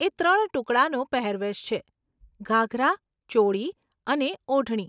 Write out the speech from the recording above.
એ ત્રણ ટુકડાનો પહેરવેશ છે, ઘાઘરા, ચોળી અને ઓઢણી.